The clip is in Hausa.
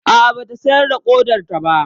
A'a, ba ta sayar da ƙodarta ba.